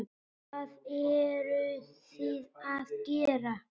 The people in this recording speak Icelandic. Hvað eruð þið að gera?